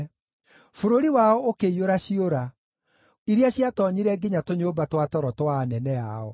Bũrũri wao ũkĩiyũra ciũra, iria ciatoonyire nginya tũnyũmba twa toro twa anene ao.